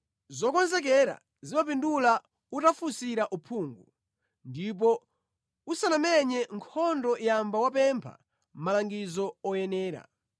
Zokonzekera zimapindula utafunsira uphungu; ndipo usanamenye nkhondo yamba wapempha malangizo oyenera.